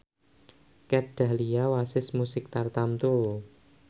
Kat Dahlia wasis musik tartamtu